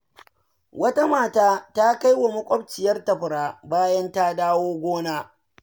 Wata mata ta kai wa wata makwabciyarta fura bayan ta dawo daga gona.